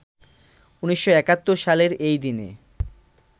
১৯৭১ সালের এই দিনে